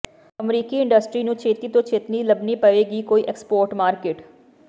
ਅਮਰੀਕੀ ਇੰਡਸਟਰੀ ਨੂੰ ਛੇਤੀ ਤੋਂ ਛੇਤੀ ਲੱਭਣੀ ਪਵੇਗੀ ਕੋਈ ਐਕਸਪੋਰਟ ਮਾਰਕੀਟ